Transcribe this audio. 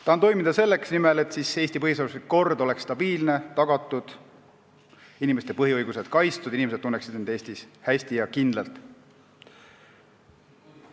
Tahan toimida selle nimel, et Eesti põhiseaduslik kord oleks tagatud ja et see oleks stabiilne, nii et inimeste põhiõigused oleks kaitstud ning nad tunneksid end Eestis hästi ja kindlalt.